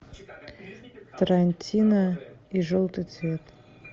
тарантино и желтый цвет